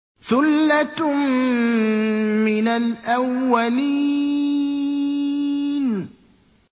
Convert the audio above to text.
ثُلَّةٌ مِّنَ الْأَوَّلِينَ